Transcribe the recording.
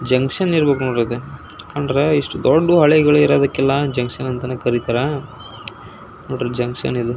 Railway ಹಾಲಿ ಇದೆ ನೋಡ್ರಿ ಇಲ್ಲೇ ರೈಲ್ವೆ ಟ್ರ್ಯಾಕ್ ಆಗಲೇ ರೈಲ್ವೆ ಬರಕತೆತಿ.